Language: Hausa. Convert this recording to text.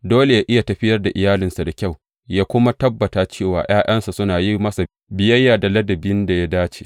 Dole yă iya tafiyar da iyalinsa da kyau, yă kuma tabbata cewa ’ya’yansa suna yin masa biyayya da ladabin da ya dace.